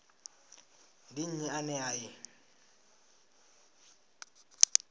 ndi nnyi ane a i